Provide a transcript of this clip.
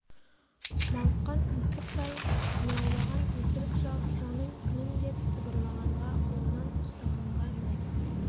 мауыққан мысықтай мияулаған есірік шал жаным күнім деп сыбырлағанға қолынан ұстағанға мәз